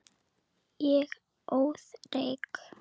Ég óð reyk.